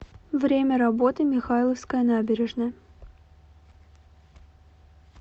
время работы михайловская набережная